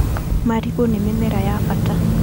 Marigũ nĩ mĩmera ya bata.